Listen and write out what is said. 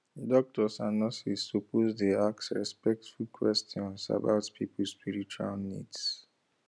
doctors and nurses suppose dey ask respectful questions about people spiritual needs